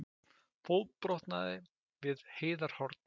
Fótbrotnaði við Heiðarhorn